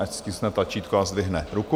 Ať stiskne tlačítko a zdvihne ruku.